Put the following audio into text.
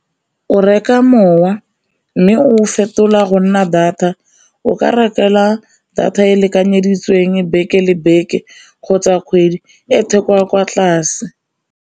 O reka mowa mme o fetola go nna data, o ka rekelwa data e e lekanyeditsweng beke le beke kgotsa kgwedi e theko ya kwa tlase.